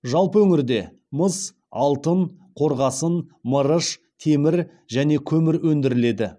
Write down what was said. жалпы өңірде мыс алтын қорғасын мырыш темір және көмір өндіріледі